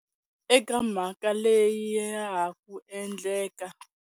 Eka mhaka leya ha ku endleka.